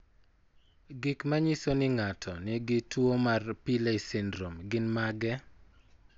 Gik manyiso ni ng'ato nigi tuwo mar Pillay syndrome gin mage?